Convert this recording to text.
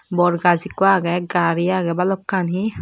bor gaz ekko agey gari agey balokkani.